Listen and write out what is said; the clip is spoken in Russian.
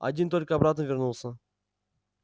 один только обратно вернулся